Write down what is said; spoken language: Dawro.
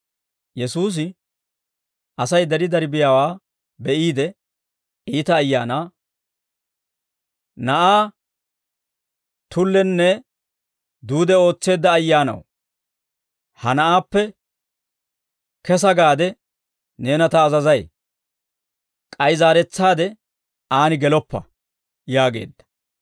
Yesuusi Asay dari dari biyaawaa be'iide, iita ayaanaa, «Na'aa tullenne duude ootseedda ayyaanaw, ha na'aappe kesa gaade neena ta azazay; k'ay zaaretsaade aan geloppa» yaageedda.